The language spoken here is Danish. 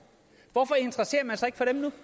hvorfor interesserer man sig